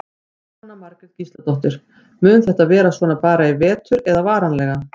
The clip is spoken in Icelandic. Jóhanna Margrét Gísladóttir: Mun þetta vera svona bara í vetur eða varanlega?